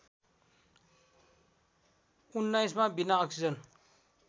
१९ मा बिना अक्सिजन